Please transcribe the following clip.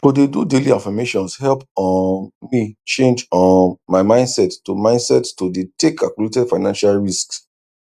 to dey do daily affirmations help um me change um my mindset to mindset to dey take calculated financial risks